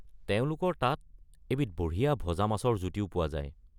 তেওঁলোকৰ তাত এবিধ বঢ়িয়া ভজা মাছৰ জুতিও পোৱা যায়।